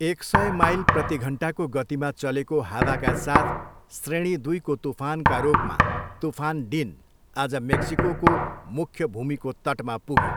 एक सय माइल प्रतिघन्टाको गतिमा चलेको हावाका साथ श्रेणी दुईको तुफानका रूपमा तूफान डिन आज मेक्सिकोको मुख्य भूमिको तटमा पुग्यो।